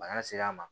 Bana ser'a ma